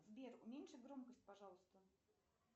сбер уменьши громкость пожалуйста